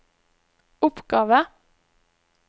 oppgave